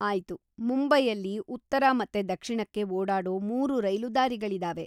ಆಯ್ತು, ಮುಂಬೈಯಲ್ಲಿ ಉತ್ತರ ಮತ್ತೆ ದಕ್ಷಿಣಕ್ಕೆ ಓಡಾಡೋ ಮೂರು ರೈಲು ದಾರಿಗಳಿದಾವೆ.